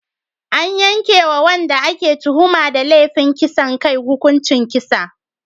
An yanke wa wadanda ake tuhuma da laifin kisan kai hukuncin kisa.